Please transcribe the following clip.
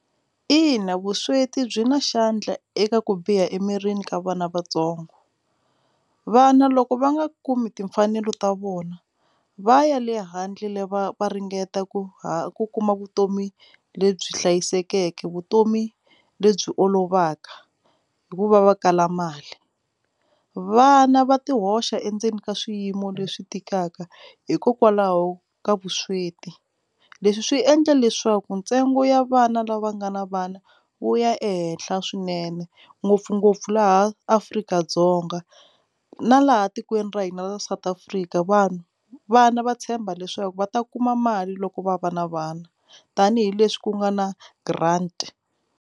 Ina, vusweti byi na xandla eka ku biha emirini ka vana vatsongo vana loko va nga kumi timfanelo ta vona va ya le handle va va ringeta ku ha ku kuma vutomi lebyi hlayisekeke vutomi lebyi olovaka hikuva va kala mali vana va ti hoxa endzeni ka swiyimo leswi tikaka hikokwalaho ka vusweti leswi swi endla leswaku ntsengo ya vana lava nga na vana wu ya ehenhla swinene ngopfungopfu laha Afrika-Dzonga na laha tikweni ra hina ra South Africa vanhu vana va tshemba leswaku va ta kuma mali loko va va na vana tanihileswi ku nga na grant.